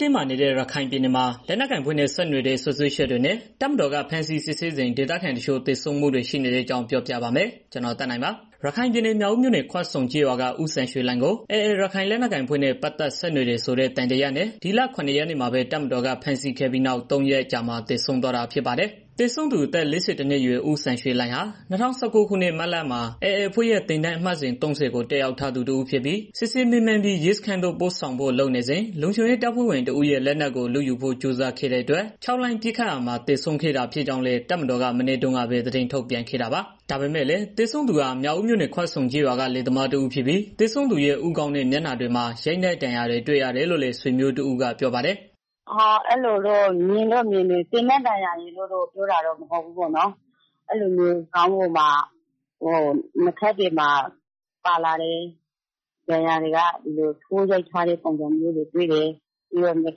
တင်းမာနေတဲ့ ရခိုင်ပြည်နယ်မှာ လက်နက်ကိုင်အဖွဲ့နဲ့ ဆက်နွယ်တဲ့ စွပ်စွဲချက်နဲ့ တပ်မတော်က ဖမ်းဆီးစစ်ဆေးစဉ် ဒေသခံတချို့ သေဆုံးမှုတွေ ရှိနေတဲ့အကြောင်း ပြောပြပါမယ်။ ဗွီအိုအေမြန်မာပိုင်း သတင်းထောက် ကိုသက်နိုင်က သတင်းပေးပို့ထားပါတယ်။ ရခိုင်ပြည်နယ် မြောက်ဦးမြို့နယ် ခွဆုံကျေးရွာက ဦးစံရွှေလှိုင်ကို AA ရခိုင်လက်နက်ကိုင်အဖွဲ့နဲ့ ပတ်သက်ဆက်နွယ်တယ်ဆိုတဲ့ သံသယနဲ့ ဒီလ ၇ ရက်နေ့မှာပဲ တပ်မတော်က ဖမ်းဆီးခဲ့ပြီးနောက် ၃ ရက်အကြာမှာ သေဆုံးသွားတာ ဖြစ်ပါတယ်။ သေဆုံးသူ အသက် ၄၁ နှစ်အရွယ် ဦးစံရွှေလှိုင်ဟာ ၂၀၁၉ ခုနှစ် မတ်လမှာ AA အဖွဲ့ရဲ့ သင်တန်းအမှတ်စဉ် ၃၀ ကို တက်ရောက်ထားသူ တစ်ဦးဖြစ်ပြီး စစ်ဆေးမေးမြန်းပြီး ရဲစခန်းသို့ ပို့ဆောင်ဖို့လုပ်နေစဉ် လုံခြုံရေး တပ်ဖွဲ့ဝင် တစ်ဦးရဲ့ လက်နက်ကို လုယူဖို့ ကြိုးစားခဲ့တဲ့အတွက် ခြောက်လှန့်ပစ်ခတ်ရာမှာ သေဆုံးခဲ့တာ ဖြစ်ကြောင်းလည်း တပ်မတော်က မနေ့တုန်းကပဲ သတင်းထုတ်ပြန်ခဲ့တာပါ။ ဒါပေမဲ့လည်း သေဆုံးသူဟာမြောက်ဦးမြို့နယ် ခွဆုံကျေးရွာက လယ်သမားတစ်ဦးဖြစ်ပြီး သေဆုံးသူရဲ့ ဦးခေါင်းနဲ့ မျက်နှာတွေမှာ ရိုက်နှက်ဒဏ်ရာတွေ တွေ့ရတယ်လို့လည်း ဆွေမျိုးတစ်ဦးက ပြောပါတယ်။ "အဲလိုတော့ မြင်တယ်၊ သေနတ်ဒဏ်ရာရယ်လို့ ပြောတာတော့ မဟုတ်ဘူးပေါ့နော်။ ခေါင်းတွေမှာ၊ နားထင်တွေမှာ ပါလာတဲ့ ဒဏ်ရာတွေက ထိုးရိုက်ထားတဲ့ ဒဏ်ရာတွေ တွေ့တယ်ပေါ့နော်။ ပြီးတော့ နှုတ်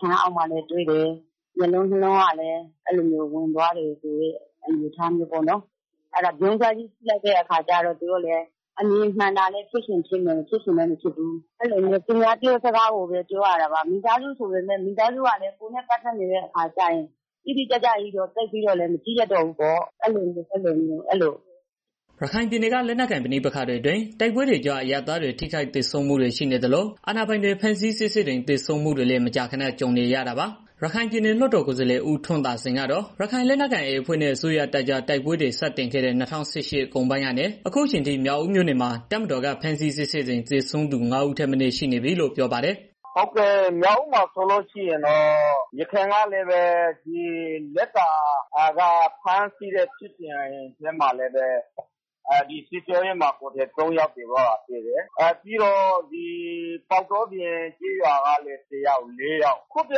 ခမ်းအောက်မှာ လည်းတွေ့တယ်။ ပြီးတော့ မျက်လုံးကလည်း အထဲကို ဝင်သွားတယ်ဆိုတာ တွေ့တယ်။ ဒီအတိုင်းကြည့်လာတာဆိုတော့ အမြင်မှန်တာလည်း ဖြစ်မယ် မဖြစ်ချင်လည်း မဖြစ်ဘူး။ အဲလိုပဲ သူများ ပြောတာကိုပဲ ပြောရတာပါ မိသားစုဆိုတော့ သိပ်ပြီးတော့ မကြည့်ရဲဘူးလေ။" ရခိုင်ပြည်နယ်က လက်နက်ကိုင် ပဋိပက္ခတွေအတွင်း တိုက်ပွဲတွေကြား အရပ်သား ထိခိုက်သေဆုံးမှုတွေ ရှိနေသလို၊ အာဏာပိုင်တွေ ဖမ်းဆီးစစ်ဆေးစဉ် သေဆုံးမှုတွေလည်း မကြာခဏ ကြုံနေရတာပါ။ ရခိုင်ပြည်နယ် လွှတ်တော်ကိုယ်စားလှယ် ဦးထွန်းသာစိန်ကတော့ ရခိုင်လက်နက်ကိုင် AA အဖွဲ့နဲ့ အစိုးရတပ်ကြား တိုက်ပွဲတွေ စတင်ခဲ့တဲ့ ၂၀၁၈ ခုနှစ်ကုန်ပိုင်းကနေ အခုအချိန်အထိ မြောက်ဦးမြို့ နယ်မှာ တပ်မတော်က ဖမ်းဆီးစစ်ဆေးစဉ် သေဆုံးသူ ၅ ဦးထက်မနည်း ရှိနေပြီလို့ ပြောပါတယ်။ "မြောက်ဦးမှာဆိုလို့ရှိရင်တော့ ယခင်ကလည်းပဲ လက်ကာဖြစ်စဉ်တုန်းက ဖမ်းထားတာမှာလည်း စစ်ကြောရေးမှာ ၃ ယောက် သေသွားတာရှိတယ်။ ပြီးတော့ ပေါက်တောပြင်ကျေးရွာကလည်း တစ်ယောက်၊ လေးယောက် အခုတစ်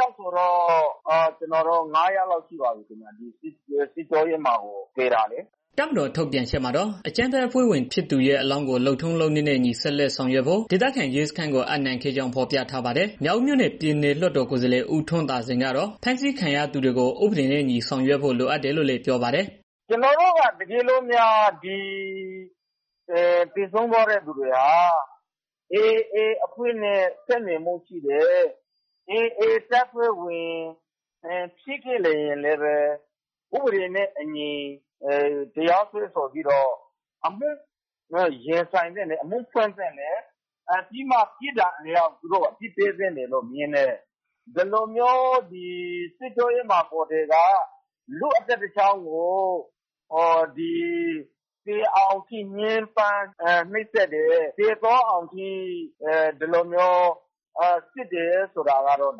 ယောက်ဆိုရင်တော့ ၅ ယောက်ရှိပါပြီး ဒီစစ်ကြောရေးမှာ သေသွားတာလေ။ " တပ်မတော် ထုတ်ပြန်ချက်မှာတော့ အကြမ်းဖက်အဖွဲ့ဝင်ဖြစ်သူရဲ့ အလောင်းကို လုပ်ထုံးလုပ်နည်းနဲ့အညီ ဆက်လက် ဆောင်ရွက်ဖို့ ဒေသခံ ရဲစခန်းကို အပ်နှံခဲ့ကြောင်း ဖော်ပြထားပါတယ်။ မြောက်ဦးမြို့နယ် လွှတ်တော်ကိုယ်စားလှယ် ဦးထွန်းသာစိန် ကတော့ ဖမ်းဆီးခံရသူတွေကို ဥပဒေအညီ ဆောင်ရွက်ဖို့ လိုတယ်လို့လည်း ပြောပါတယ်။ "တကယ်လို့ ဒီသေဆုံးသွားသူတွေဟာ AA အဖွဲ့နဲ့ ဆက်နွယ်မှု ရှိတယ်ဆိုရင် AA တပ်ဖွဲ့ဝင် ဖြစ်ခဲ့ရင်တောင် ဥပဒေနဲ့ အညီ အမှု ဖွင့်သင့်တယ် တရားရင်ဆိုင်သင့်တယ်။ ပြီးတော့မှာ ပြစ်ဒဏ်အလျောက် သူတို့ကို အမှုဖွင့်သင့်တယ်လို့ မြင်တယ်။ ဒီလိုမျိုး စစ်ကြောရေးမှာ လူ့အသက်တစ်ချောင်းကို သေအောင်အထိ ညဉ်းပန်း နှိပ်စက်တယ်၊ သေသွားအောင်အထိ စစ်တယ်ဆိုတာကတော့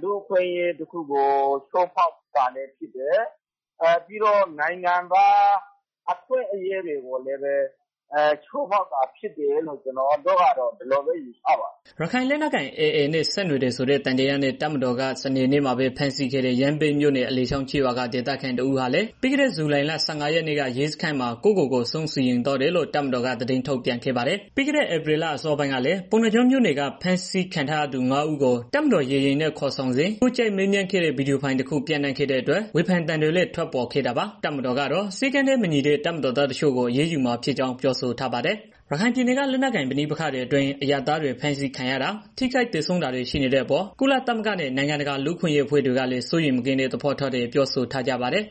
လူ့အခွင့်အရေးတစ်ခုကို ချိုးဖောက်တာလည်း ဖြစ်တယ်။ နိုင်ငံသားအခွင့်အရေးတွေကို ချိုးဖောက်ရာရောက်တယ်လို့ ကျနော်တို့ကတော့ မြင်တယ်။" ရခိုင်လက်နက်ကိုင်အဖွဲ့ AA နဲ့ ဆက်နွယ်တယ်ဆိုတဲ့ သံသယနဲ့ တပ်မတော်က စနေနေ့မှာပဲ ဖမ်းဆီးခဲ့တဲ့ ရမ်းဗြဲမြို့နယ် အလယ်ချောင်းကျေးရွာက ဒေသခံ တစ်ဦးဟာလည်း ပြီးခဲတဲ့ ဇူလိုင်လ ၁၅ ရက်နေ့က ရဲစခန်းမှာ ကိုယ့်ကိုကိုယ် အဆုံးစီရင်သွားတယ်လို့ တပ်မတော်က သတင်းထုတ်ပြန်ခဲ့ပါတယ်။ ပြီးခဲ့တဲ့ ဧပြီလအစောပိုင်းကလည်း ပုဏ္ဏားကျွန်းမြို့နယ်က ဖမ်းဆီးခံရထားသူ ငါး ဦးကို တပ်မတော်ရေယာဉ်နဲ့ ခေါ်ဆောင်သွားစဉ် ထိုးကြိတ်မေးမြန်းခဲ့တဲ့ ဗွီဒီယိုဖိုင်တခု ပျံ့နှံ့ခဲ့တဲ့အတွက် ဝေဖန်သံတွေလည်း ထွက်ပေါ်ခဲ့တာပါ။ တပ်မတော်ကတော့ စည်းကမ်းနဲ့မညီတဲ့ တပ်မတော်သား တချို့ကို အရေးယူမှာဖြစ်ကြောင်း ပြောဆိုထားပါတယ်။ ရခိုင်ပြည်နယ်က လက်နက်ကိုင် ပဋိပက္ခတွေအတွင်း အရပ်သားတွေ ဖမ်းဆီးခံရတာ၊ ထိခိုက်သေဆုံးတာတွေ ရှိနေတဲ့အပေါ် ကုလသမဂ္ဂနဲ့ နိုင်ငံတကာ လူ့အခွင့်အရေး အဖွဲ့တွေကလည်း စိုးရိမ်မကင်းတဲ့ သဘောထားတွေ ပြောဆိုထားကြပါတယ်။